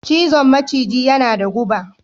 cizon maciji yana da guba